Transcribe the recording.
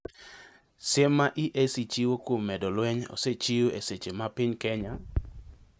Siem ma EAC chiwo kuom medo lweny osechiw e seche ma piny Kenya